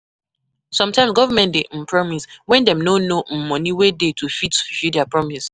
Sometimes government dey um promise when dem no know um money wey dey to fit fulfill their promise